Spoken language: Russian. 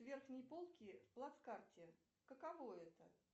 верхние полки в плацкарте каково это